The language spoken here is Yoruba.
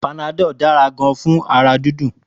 Panadol dára gan fún ara dídùn